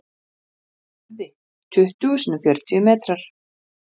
kleópötru grunaði að rómverjarnir ætluðu að ná enn frekari völdum í egyptalandi